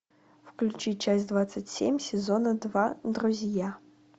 включи часть двадцать семь сезона два друзья